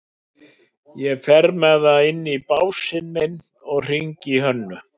Ég fer með það inn á básinn minn og hringi í Hönnu.